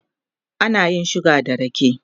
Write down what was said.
ana yin suga da rake